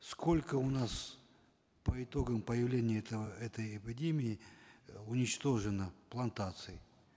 сколько у нас по итогам появления этого этой эпидемии уничтожено плантаций